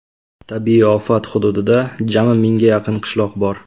Tabiiy ofat hududida jami mingga yaqin qishloq bor.